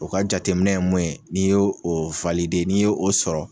O ka jateminɛ ye mun ye n'i y'o n'i y'o o sɔrɔ